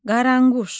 Qaranquş.